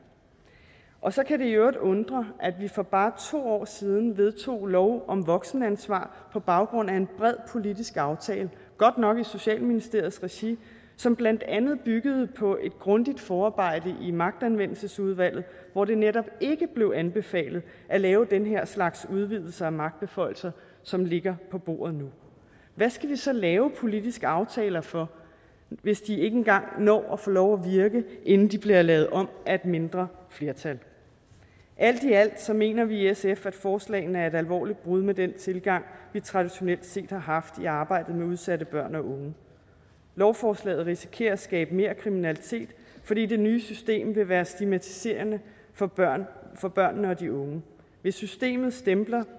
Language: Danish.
og så kan det i øvrigt undre at vi for bare to år siden vedtog lov om voksenansvar på baggrund af en bred politisk aftale godt nok i socialministeriets regi som blandt andet byggede på et grundigt forarbejde i magtanvendelsesudvalget hvor det netop ikke blev anbefalet at lave den her slags udvidelser af magtbeføjelser som ligger på bordet nu hvad skal vi så lave politiske aftaler for hvis de ikke engang når at få lov at virke inden de bliver lavet om af et mindre flertal alt i alt mener vi i sf at forslagene er et alvorligt brud med den tilgang vi traditionelt set har haft i arbejdet med udsatte børn og unge lovforslaget risikerer at skabe mere kriminalitet fordi det nye system vil være stigmatiserende for børnene for børnene og de unge hvis systemet stempler